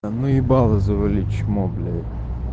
ну ебало завали чмо блядь